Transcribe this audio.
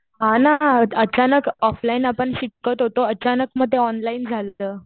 हा ना. अचानक ऑफलाईन आपण शिकत होतो. अचानक मग ते ऑनलाईन झालंत.